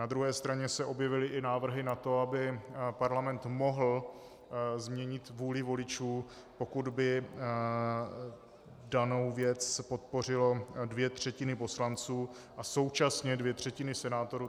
Na druhé straně se objevily i návrhy na to, aby Parlament mohl změnit vůli voličů, pokud by danou věc podpořily dvě třetiny poslanců a současně dvě třetiny senátorů.